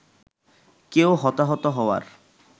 কেউ হতাহত হওয়ার